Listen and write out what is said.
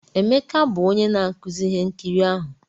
Emeka bụ onye na-akụzi ihe nkiri ahụ